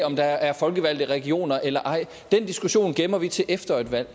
om der er folkevalgte regioner eller ej den diskussion gemmer vi til efter et valg